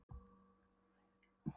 Þá yrði líka fjör í eldhúsinu!